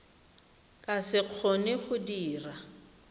ka se kgone go dira